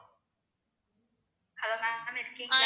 hello ma'am இருக்கீங்களா